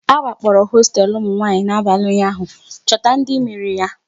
A wakporo hosteelu ụmụnwanyị n'abalị ụnyaahụ, chọta ndị mere ya!